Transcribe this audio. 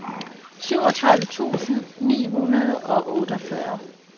syvogtredive tusind ni hundrede og otteogfyrre